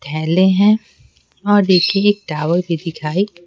थैले हैं और देखिए एक टावर भी दिखाई--